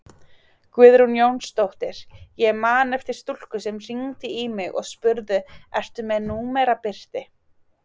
Guðrún Jónsdóttir: Ég man eftir stúlku sem hringdi í mig og spurði ertu með númerabirti?